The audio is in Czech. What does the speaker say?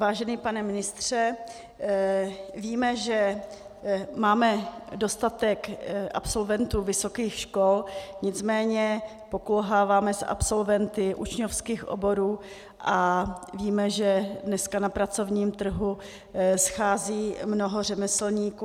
Vážený pane ministře, víme, že máme dostatek absolventů vysokých škol, nicméně pokulháváme s absolventy učňovských oborů a víme, že dneska na pracovním trhu schází mnoho řemeslníků.